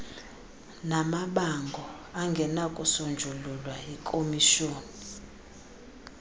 namabango angenakusonjululwa yikhomishoni